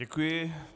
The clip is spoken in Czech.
Děkuji.